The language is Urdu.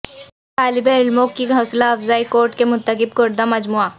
طالب علموں کی حوصلہ افزا کوٹ کے منتخب کردہ مجموعہ